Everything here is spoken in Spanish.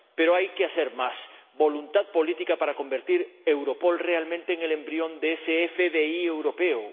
Pero hay que hacer más. Voluntad política para convertir Europol realmente en el embrión de ese FBI europeo.